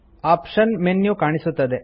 option ನ menu ಕಾಣಿಸುತ್ತದೆ